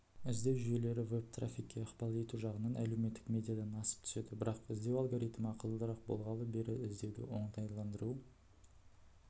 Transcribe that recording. іздеу жүйелері веб-трафикке ықпал ету жағынан әлеуметтік медиадан асып түседі бірақ іздеу алгоритмі ақылдырақ болғалы бері іздеуді оңтайландыру